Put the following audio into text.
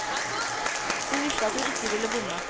Hun visste at hun ikke ville bomme.